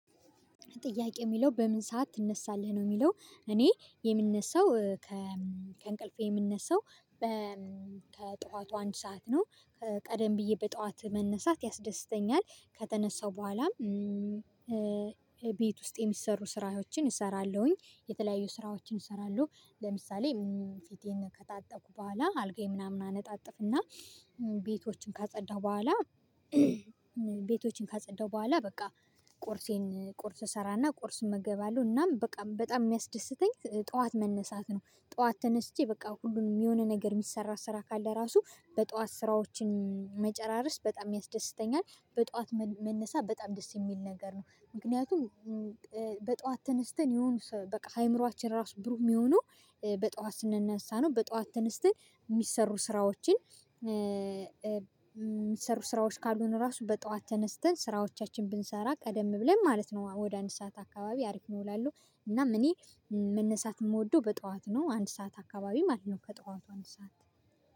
ትያከው ሚለው በምን ሰዓት ትነሳለክ ነው? ሚለው እኔ የምነሳው ከ እ ከእንቅልፈ ምነሳው ከጠዋቱ አንድ ሰዓት ነው። ቀደም ብየ በጠዋት መነሳት ያስደስተኛል። ከተነሳው በኋላም በት ዉስ የሚሰሩ ስራዎችህን እሰራለው። የተለያዩ ስራዎችን እሰራለው። ለምሳሌ ፊቴን ከታጠብኩ በኋላ አልጋየን ምናምን አነጣጥፍ እና በቶችቹን ካጸዳው በኋላ በቶቹን ካስተዳው በኋላ በቃ ቁርሰን ቁርስ ሰራና ቁርስ እመገባለው እናም በቃ በታም ሚያስደስተኝ ጠዋት መነሳት ነው። ጠዋት ተነስቼ በቃ ሁሉንም የሆነ ነገር የሚሰራ ስራ ካለ እራሱ በጠዋት ስራዎችህን መጨራረስ በጣም ያስደስተኛል። በጠዋት መነሳት በጣም ደስ የሚል ነገር ነው። ምክኛቱም በጠዋት ተነስተን የሆኑ አምሮአችን እራሱ ብሩህ የሚሆነው በጠዋት ስንነሳ ነው። በጠዋት ተነስተን የሚሰሩ ስራዎችን የሚሰሩ ስራዎች ካሉን እራሱ በጠዋት ተነስተን ስራዎቻችንን ብንሰራ ቀደም ብለን ማለት ነው። ወደ አንድ ሰዓት አከባቢ አሪፍ ነው እላለው። እናም እኔ መነሳት የምወደው በጠዋት ነው። ጠዋት አከባቢ ማለት ነው። ከጠዋቱ አንድ ሰዓት